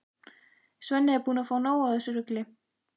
Svenni er búinn að fá nóg af þessu rugli.